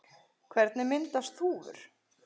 Hvernig myndast þúfur?